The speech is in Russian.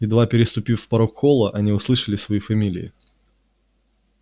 едва переступив порог холла они услышали свои фамилии